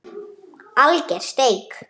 Alger steik